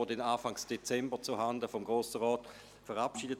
Diese werden Anfang Dezember zuhanden des Grossen Rats verabschiedet.